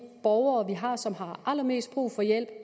borgere vi har som har allermest brug for hjælp